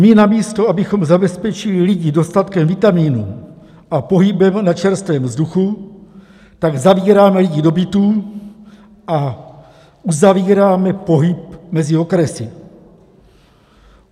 My namísto abychom zabezpečili lidi dostatkem vitaminů a pohybem na čerstvém vzduchu, tak zavíráme lidi do bytů a uzavíráme pohyb mezi okresy.